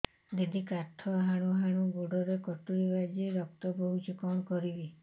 ଦିଦି କାଠ ହାଣୁ ହାଣୁ ଗୋଡରେ କଟୁରୀ ବାଜି ରକ୍ତ ବୋହୁଛି କଣ କରିବି